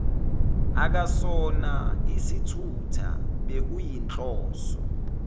akasona isithutha bekuyinhloso